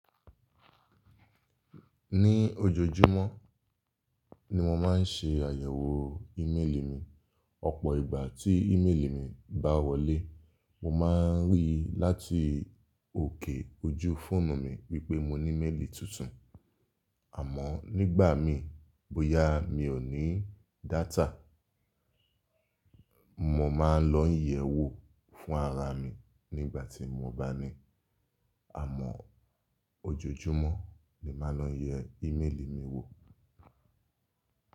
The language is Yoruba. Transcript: Ní ojoojúmọ́ ni mo máa ń ṣe àyẹ̀wò íméèlì mi. Ọ̀pọ̀ ìgbà tí ímeèlì mi bá wọlé, mo máa ń ríi láti òkè ojú fóònù mi wípé mo ní méèlì tuntun. Àmọ́ nígbà míì bóyá mi ò ní data, mo máa ń lọ ń yẹ̀ẹ́ wò fún ara mi nígbà tí mo bá ní. Àmọ́ ojoojúmọ́ ni máa ń lọ yẹ ímeèlì mi wò.